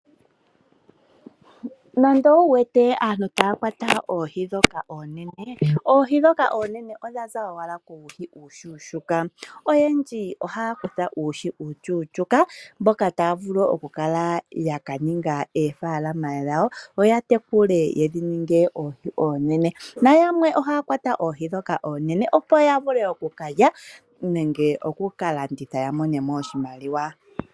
Nando owu wete aantu taya kwata oohi ndhoka oonene, oohi ndhoka oonene odha za owala kuuhi uushuushuuka. Oyendji ohaya kutha uuhi uushuushuka mboka taya vulu okukala ya ka ninga oofaalama dhawo yo ya tekule dhi ninge oohi oonene. Yamwe ohaya kwata oohi ndhoka oonene, opo ya vule oku ka lya nenge oku ka landitha ya mone mo oshimaliwa.